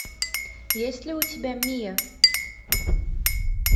есть ли у тебя мия